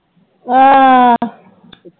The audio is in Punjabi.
ਹਾਂ